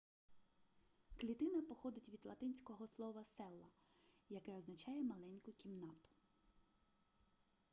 клітина походить від латинського слова cella яке означає маленьку кімнату